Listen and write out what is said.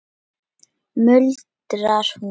muldrar hún.